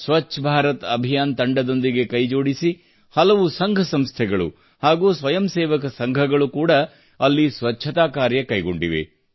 ಸ್ವಚ್ಛ ಭಾರತ ಅಭಿಯಾನ ತಂಡದೊಂದಿಗೆ ಕೈಜೋಡಿಸಿ ಹಲವು ಸಂಘಸಂಸ್ಥೆಗಳು ಹಾಗೂ ಸ್ವಯಂಸೇವಕ ಸಂಘಗಳು ಕೂಡಾ ಅಲ್ಲಿ ಸ್ವಚ್ಛತಾ ಕಾರ್ಯ ಕೈಗೊಂಡಿವೆ